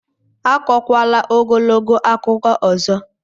Akọkwala ogologo akụkọ ọzọ!